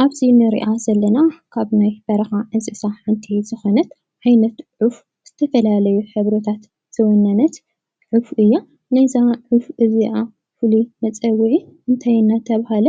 ኣብዚ እንሪኣ ዘለና ካብናይ በረኻ እንስሳ ሓንቲ ዝኾነት ዓይነት ዑፍ ዝተፈላለዩ ሕብርታት ዝወነነት ዑፍ እያ። ናይ እዛ ዑፍ እዚኣ ፍሉይ መፀውዒ እንታይ እንዳተብሃለ